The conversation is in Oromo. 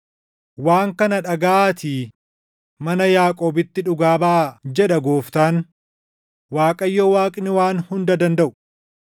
“Waan kana dhagaʼaatii mana Yaaqoobitti dhugaa baʼaa” jedha Gooftaan, Waaqayyo Waaqni Waan Hunda Dandaʼu.